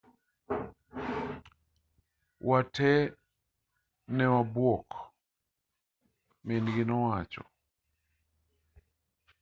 wa tee newabuok min-gi nowacho